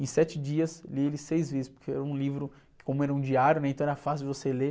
Em sete dias, li ele seis vezes, porque era um livro que, como era um diário, então era fácil você ler.